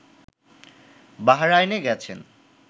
বাহরাইনে গেছেন